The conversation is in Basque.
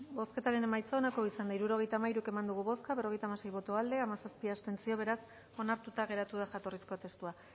bozketaren emaitza onako izan da hirurogeita hamairu eman dugu bozka berrogeita hamasei boto aldekoa hamazazpi abstentzio beraz onartuta geratu da jatorrizko testua